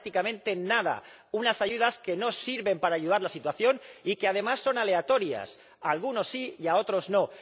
Prácticamente nada unas ayudas que no sirven para ayudar a la situación y que además son aleatorias, a algunos sí y a otros no.